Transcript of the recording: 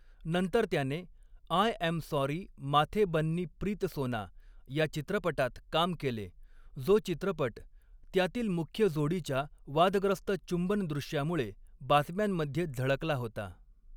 नंतर त्याने 'I am sorry Mathe Banni Preethsona' या चित्रपटात काम केले, जो चित्रपट त्यातील मुख्य जोडीच्या वादग्रस्त चुंबन दृश्यामुळे बातम्यांमध्ये झळकला होता.